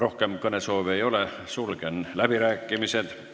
Rohkem kõnesoove ei ole, sulgen läbirääkimised.